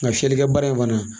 Nka fiyɛlikɛbara in fana